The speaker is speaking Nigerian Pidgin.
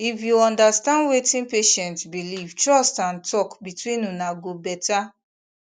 if you understand wetin patient believe trust and talk between una go better